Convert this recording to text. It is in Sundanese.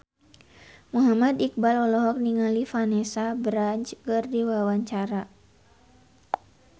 Muhammad Iqbal olohok ningali Vanessa Branch keur diwawancara